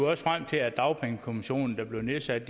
også frem til at dagpengekommissionen der blev nedsat